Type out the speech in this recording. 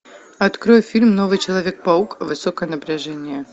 открой фильм новый человек паук высокое напряжение